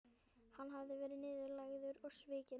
Hann hafði verið niðurlægður og svikinn.